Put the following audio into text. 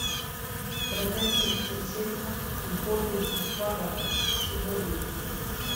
продать тридцать семь боливаров сегодня